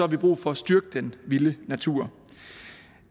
vi brug for at styrke den vilde natur